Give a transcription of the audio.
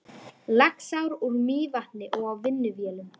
Laxár úr Mývatni og á vinnuvélum.